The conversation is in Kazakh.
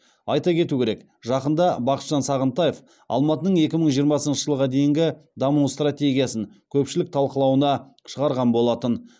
айта кету керек жақында бақытжан сағынтаев алматының екі мың жиырмасыншы жылға дейінгі даму стратегиясын көпшілік талқылауына шығарған болатын